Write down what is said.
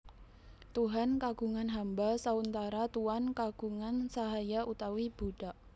Tuhan kagungan hamba sauntara Tuan kagungan sahaya utawi budak